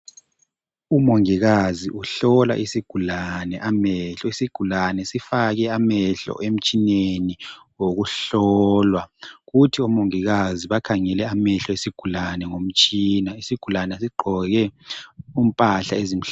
umongikazi uhlola isigulane amehlo isigulane sifake amehlo emtshineni wokuhlolwa kuthi omongikazi bakhangele amehlo esigulane ngomtshina kuthi isigulane sigqoke impahla ezimhlophe